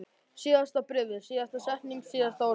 Síðasta bréfið, síðasta setningin, síðasta orðið.